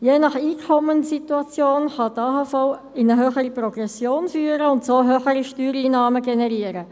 Je nach Einkommenssituation kann die AHV in eine höhere Progression führen und so höhere Steuereinnahmen generieren.